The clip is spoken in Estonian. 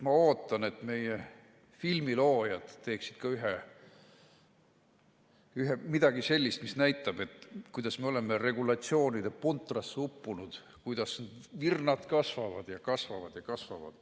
Ma ootan, et meie filmiloojad teeksid ka midagi sellist, mis näitab, kuidas me oleme regulatsioonide puntrasse uppunud, kuidas virnad kasvavad ja kasvavad ja kasvavad.